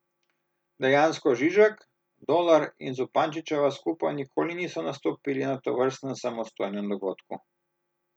Dejansko Žižek, Dolar in Zupančičeva skupaj nikoli niso nastopili na tovrstnem samostojnem dogodku.